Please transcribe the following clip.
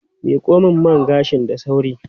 Miko min man gashin da sauri.